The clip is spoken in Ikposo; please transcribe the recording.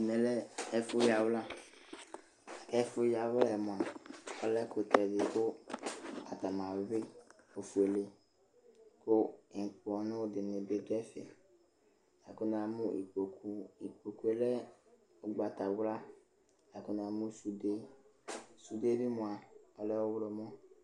Ɛmɛ lɛ ɛfʋ yawla, ɛfʋ yawla yɛ mʋa, ɔlɛ ɛkʋtɛ edigbo kʋ atanɩ ayuɩ ofuele kʋ ŋʋkpɔnʋ dɩnɩ bɩ dʋ ɛfɛ; kʋ namʋ ikpoku ,ikpokue lɛ ʋgbatawla kʋ namʋ sude, sude bɩ mʋa ɔlɛ ɔɣlɔmɔ